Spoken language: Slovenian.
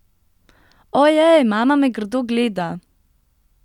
Ojej, mama me grdo gleda!